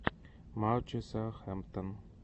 матчи саутгемптон